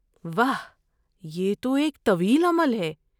واہ، یہ تو ایک طویل عمل ہے۔